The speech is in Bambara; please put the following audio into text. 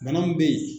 Bana mun be yen